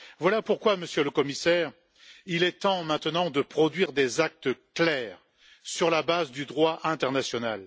Voilà pourquoi, Monsieur le Commissaire, il est temps maintenant de produire des actes clairs s'appuyant sur le droit international.